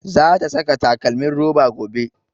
Za ta saka takalmin roba gobe